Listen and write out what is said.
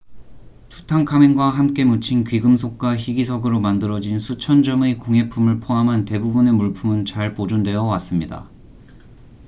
투탕카멘과 함께 묻힌 귀금속과 희귀석으로 만들어진 수천 점의 공예품을 포함한 대부분의 물품은 잘 보존되어 왔습니다